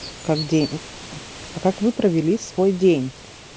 как день а как вы провели свой день